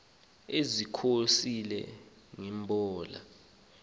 ezikholise nge mbola